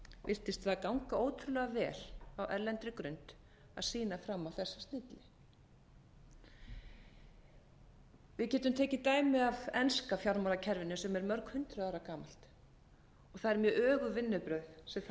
virtist það ganga ótrúlega vel á erlendri grund að sýna fram á þessa hluti við getum tekið dæmi af enska fjármálakerfinu sem er mörg hundruð ára gamalt það eru mjög öguð vinnubrögð sem þar hafa